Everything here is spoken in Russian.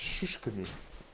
шишками